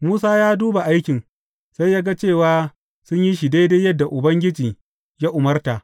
Musa ya duba aikin, sai ya ga cewa sun yi shi daidai yadda Ubangiji ya umarta.